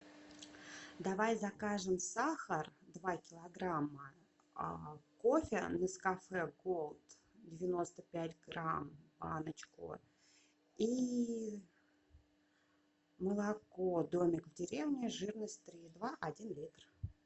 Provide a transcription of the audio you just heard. давай закажем сахар два килограмма кофе нескафе голд девяносто пять грамм баночку и молоко домик в деревне жирность три и два один литр